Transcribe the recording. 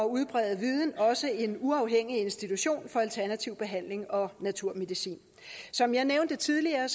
udbrede viden også oprettet en uafhængig institution for alternativ behandling og naturmedicin som jeg nævnte tidligere